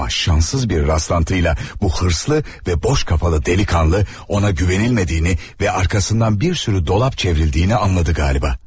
Amma şanssız bir rastlantıyla bu hırslı və boş kafalı delikanlı ona güvənilmədiyini və arxasından bir sürü dolap çevrildiyini anladı qalıba.